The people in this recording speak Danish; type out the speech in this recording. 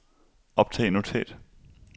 optag notat